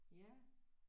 Ja